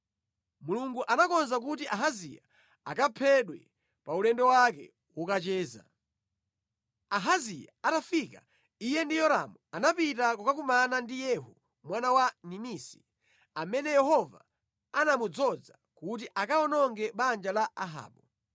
Mulungu anakonza kuti Ahaziya akaphedwe pa ulendo wake wokacheza. Ahaziya atafika, iye ndi Yoramu anapita kukakumana ndi Yehu mwana wa Nimisi, amene Yehova anamudzoza kuti akawononge banja la Ahabu.